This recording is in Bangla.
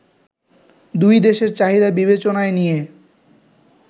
দুই দেশের চাহিদা বিবেচনায় নিয়ে